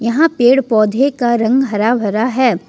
यहां पेड़ पौधे का रंग हरा भरा है।